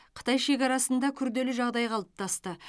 қытай шекарасында күрделі жағдай қалыптасты